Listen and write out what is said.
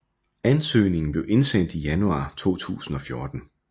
Anøsgningen blev indsendt i januar 2014